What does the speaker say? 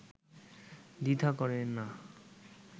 দ্বিধা করেন না